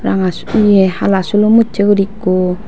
ranga ye hala sulum ussay gori ekku.